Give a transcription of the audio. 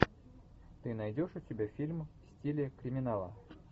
ты найдешь у себя фильм в стиле криминала